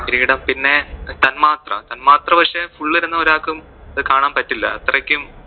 പിന്നെ തന്മാത്ര, തന്മാത്ര പക്ഷെ full ഇരുന്ന് ഒരാക്കും അത് കാണാൻ പറ്റില്ല അത്രയ്ക്കും